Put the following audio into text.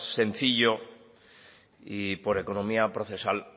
sencillo y por economía procesal